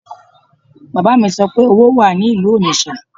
Bàbá mi sọ pé owó wà ní ìlú Onitsha